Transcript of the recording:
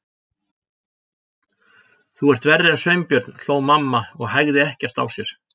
Þú ert verri en Sveinbjörn hló mamma og hægði ekkert á sér.